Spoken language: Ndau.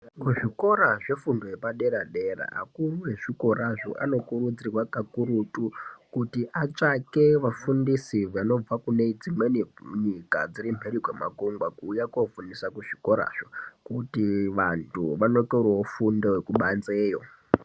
Kuzvikora zvefundo yepadera dera, akuru ezvikorazvo, anokurudzirwa kakurutu kuti atsvake vafundisi vanobve kunedzimweni nyika dziri mhiri kwemakungwa, kuwuya kofundisa kuzvikora zvo, kuti vantu vanotorowo fundo yekupanzeyo.